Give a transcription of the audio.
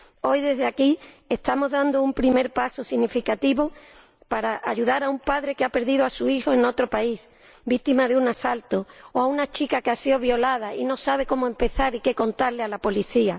Hoy desde aquí estamos dando un primer paso significativo para ayudar a un padre que ha perdido a su hijo en otro país, víctima de un asalto, o a una chica que ha sido violada y no sabe cómo empezar y qué contarle a la policía.